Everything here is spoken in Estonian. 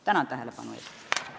Tänan tähelepanu eest!